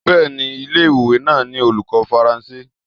Bẹ́ẹ̀ni ilé ìwé náà ní olùkọ́ Faransé.